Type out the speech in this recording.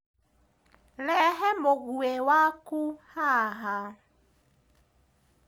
Rehe mũgwĩ waku haha.